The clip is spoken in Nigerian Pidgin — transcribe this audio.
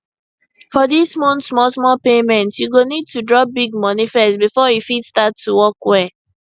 for dis month smallsmall payment you go need to drop big money first before e fit start to work well